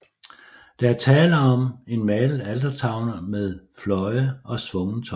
Der er tale om en malet altertavle med fløje og svungen top